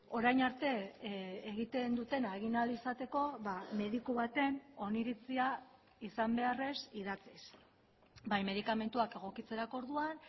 orain arte egiten dutena egin ahal izateko mediku baten oniritzia izan beharrez idatziz bai medikamentuak egokitzerako orduan